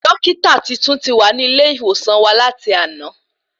Dọ́kítà tuntun ti wà ní ilé ìwòsàn wa láti àná